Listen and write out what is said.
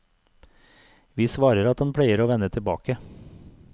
Vi svarer at han pleier å vende tilbake.